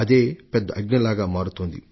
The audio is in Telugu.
ఇదే పెద్ద అగ్నిశిఖకు తావు ఇచ్చింది